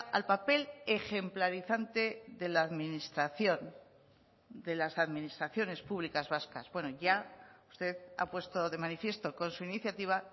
al papel ejemplarizante de la administración de las administraciones públicas vascas bueno ya usted ha puesto de manifiesto con su iniciativa